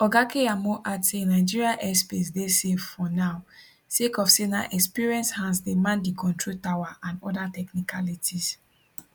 oga keyamo add say nigeria airspace dey safe for now sake of say na experienced hands dey man di control tower and oda technicalities